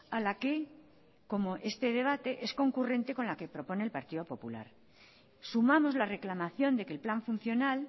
a la que como este debate es concurrente con la que proponer el partido popular sumamos la reclamación de que el plan funcional